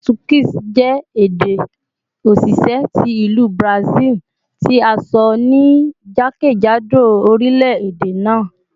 Portuguese jẹ ede osise ti Ilu Brazil, ti a sọ ni jakejado orilẹ-ede naa